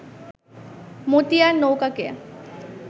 Motiar নৌকাকে